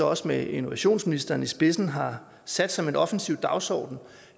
også med innovationsministeren i spidsen har sat som en offensiv dagsorden